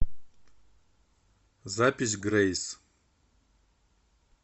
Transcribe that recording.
запись грэйс